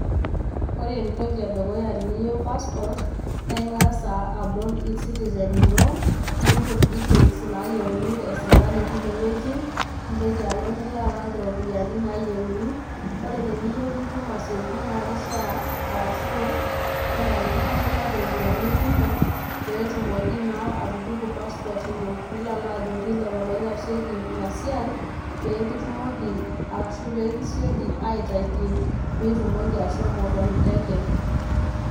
Ore entoki edukuya teniyieu passport naa ingas abol ecitizen ino ,nimput details nayieuni e sirkali tine wuei ,nintoki alo nilo alak iropiyiani nayienu, . Ore teniyieu nitum aitobiraki naa kishaa ashu kenarikino nilak iropiyiani kumok pee etumoki naa atupuku passport ino. Nilo alo ajoki lelo oitasheiki ina siai peekitumoki arashu pekisioki aitaki pitumoki ashomo tenteke.